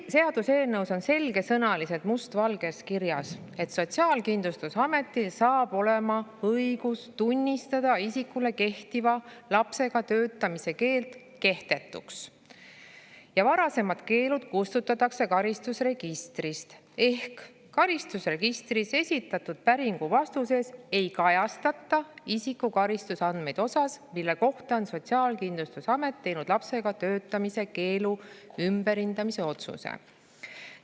Seaduseelnõus on selgesõnaliselt must valgel kirjas, et Sotsiaalkindlustusamet saab õiguse tunnistada isikule kehtiv lapsega töötamise keeld kehtetuks, varasemad keelud kustutatakse karistusregistrist ehk karistusregistrisse esitatud päringu vastuses ei kajastata isiku karistusandmeid osas, mille kohta on Sotsiaalkindlustusamet teinud lapsega töötamise keelu ümberhindamise otsuse.